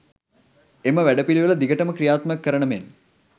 එම වැඩපිළිවෙල දිගටම ක්‍රියාත්මක කරන මෙන්